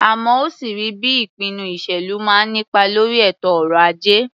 Àmọ́ ó sì rí bí ìpinnu ìṣèlú máa ń nípa lórí ètò ọrọ̀-ajé.